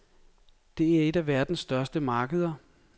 Det er et af verdens største markeder.